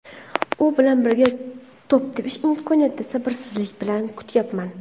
U bilan birga to‘p tepish imkoniyatini sabrsizlik bilan kutyapman”.